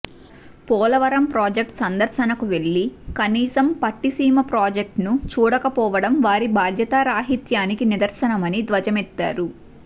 Polavaram project సందర్శనకు వెళ్లి కనీసం పట్టిసీమ ప్రాజెక్టును చూడకపోవడం వారి బాధ్యతా రాహిత్యానికి నిదర్శనమని ధ్వజమెత్తారు